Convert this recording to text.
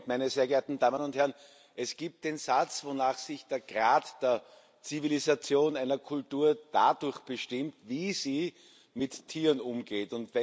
Herr Präsident, meine sehr geehrten Damen und Herren! Es gibt den Satz, wonach sich der Grad der Zivilisation einer Kultur dadurch bestimmt, wie sie mit Tieren umgeht.